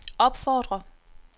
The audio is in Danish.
opfordrer